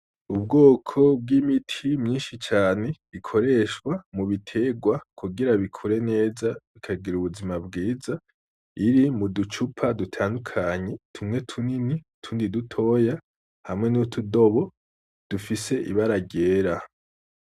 Ubwoko bw’imiti myinshi cane ikoreshwa mu biterwa kugira bikure neza bikagira ubuzima bwiza , iri mudu cupa dutandukanye , tumwe tunini utundi dutoya hamwe n’utudobo dufise ibara ryera .